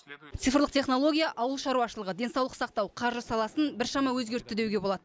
цифрлық технология ауыл шаруашылығы денсаулық сақтау қаржы саласын біршама өзгертті деуге болады